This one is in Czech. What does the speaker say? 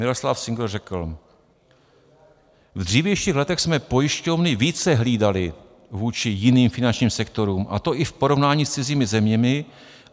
Miroslav Singer řekl: V dřívějších letech jsme pojišťovny více hlídali vůči jiným finančním sektorům, a to i v porovnání s cizími zeměmi.